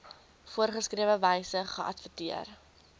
voorgeskrewe wyse geadverteer